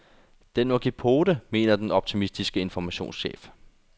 Den må give pote, mener den optimistiske informationschef.